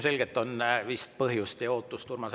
Suur tänu teile!